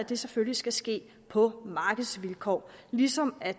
det selvfølgelig skal ske på markedsvilkår ligesom at